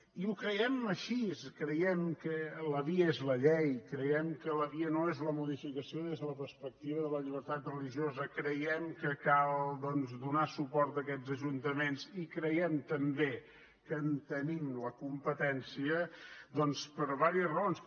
i ho creiem així creiem que la via és la llei creiem que la via no és la modificació des de la perspectiva de la llibertat religiosa creiem que cal doncs donar suport a aquests ajuntaments i creiem també que en tenim la competència doncs per diverses raons